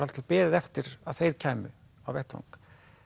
alltaf beðið eftir að þeir kæmu á vettvang